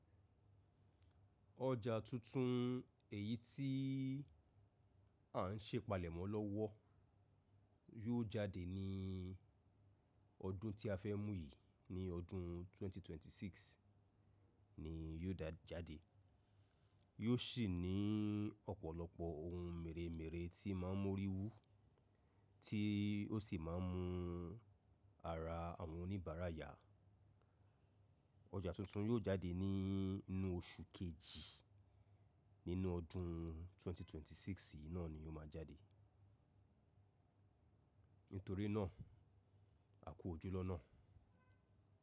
Ọjà tuntun èyíi tí à ń se ipalèmọ́ lọ́wọ́ yóò jáde ní ọdún tí a fẹ́ mú yìí. Ní ọdún ẹgbẹ̀rún méjì ó lé mẹ́rìndínlọ́gbọ̀n ni yóò dá jáde. Yóò sì ní ọ̀pọ̀lọpọ̀ ohun mèremère tí máa ń mú orí wú, tí ó sì máa ń mú ara àwọn oníbàárà yà. Ọjà tuntun yóò jáde ní inú oṣù kejì nínú ọdún ẹgbẹ̀rún méjì ó lé mẹ́rìndínlọ́gbọ̀n yìí náà ni ó máa jáde. Nítorí náà a kó ojú lọ́nà.